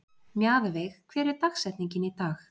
Mjaðveig, hver er dagsetningin í dag?